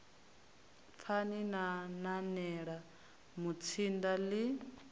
pfani na nanela mutsinda ḽi